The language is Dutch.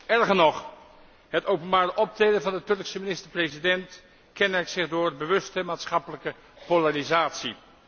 Erger nog, het openbaar optreden van de Turkse minister president kenmerkt zich door bewuste maatschappelijke polarisatie.